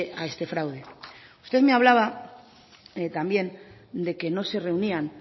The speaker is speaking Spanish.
a este fraude usted me hablaba también de que no se reunían